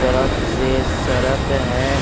तरफ से सड़क है --